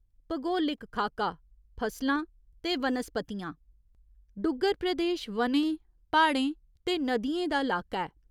भगोलिक खाका, फसलां ते वनस्पतियां डुग्गर प्रदेश वनें, प्हाड़ें ते नदियें दा लाका ऐ।